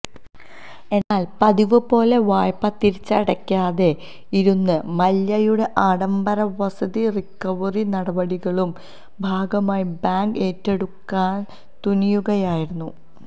എന്നാൽ പതിവ് പോലെ വായ്പ തിരിച്ചടയ്ക്കാതെ ഇരുന്ന മല്യയുടെ ആഡംബര വസതി റിക്കവറി നടപടികളുടെ ഭാഗമായി ബാങ്ക് ഏറ്റെടുക്കാൻ തുനിയുകയായിരുന്നു